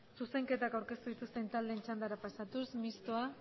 zuzenketako aurkatu ikusten taldeen txanda pasatu mistoa